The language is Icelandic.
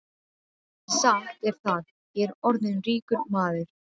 En satt er það, ég er orðinn ríkur maður.